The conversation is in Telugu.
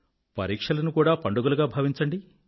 పరీక్షలను పండుగలుగా భావించండి